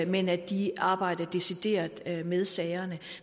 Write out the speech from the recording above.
men at de arbejder decideret med sagerne